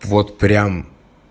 вот прям